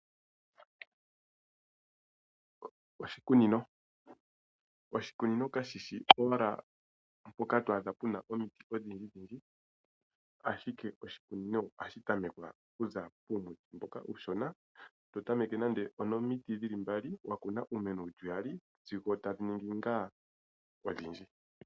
Oshikunino. Oshikunino kashishi owala mpoka to adha puna omiti odhindji dhindji ashike oshikunino ohashi tamekwa okuza kuumiti mboka uushona totameke nande onomiti dhili mbali, wa kuna iimeno yili iyali sigo tadhi ningi ngaa odhindji.